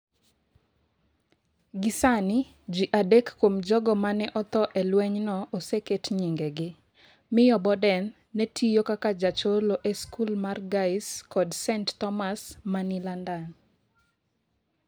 Gi sani, ji adek kuom jogo ma ne otho e lwenyno oseket nyingegi. Miyo Boden ne tiyo kaka jacholo e skul mar Guy’s kod St. Thomas ma ni London.